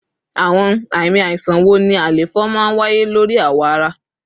Awọn ami aisan wo ni àléfọ maa n waye lori awọ ara?